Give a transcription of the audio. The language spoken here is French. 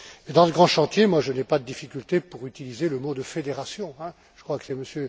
Dans ce grand chantier, je n'ai pas de difficultés pour utiliser le mot de fédération, je crois que c'est M.